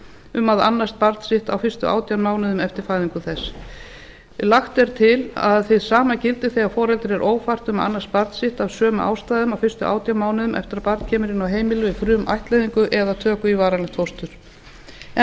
um að annast barn sitt á fyrstu átján mánuðum eftir fæðingu þess lagt er til að hið sama gildi þegar foreldri er ófært um að annast barn sitt af sömu ástæðum á fyrstu átján mánuðum eftir að barn kemur inn á heimili í frumættleiðingu eða töku í varanlegt fóstur enn